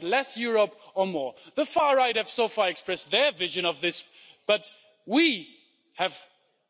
Do we want less Europe or more? The Far Right have so far expressed their vision of this, but we,